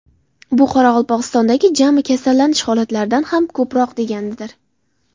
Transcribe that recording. Bu Qoraqalpog‘istondagi jami kasallanish holatlaridan ham ko‘proq deganidir.